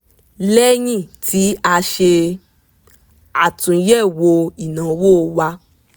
lẹ́yìn tí a ṣe àtúnyẹ̀wò ináwó wa